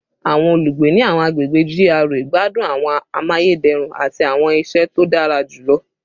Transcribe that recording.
Awọn olugbe ni awọn agbegbe GRA gbadun awọn amayederun ati awọn iṣẹ to dara julọ